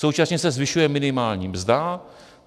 Současně se zvyšuje minimální mzda.